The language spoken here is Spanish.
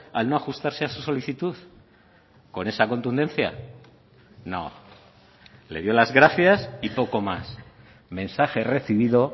al no ajustarse a su solicitud con esa contundencia no le dio las gracias y poco más mensaje recibido